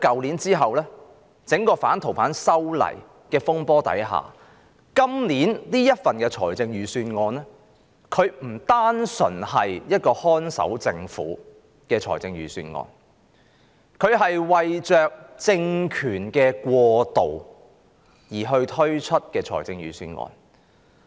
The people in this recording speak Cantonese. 然而，經過去年整個反修例風波後，今年的預算案不單是一個"看守政府"的預算案，更是為政權過渡而推出的預算案。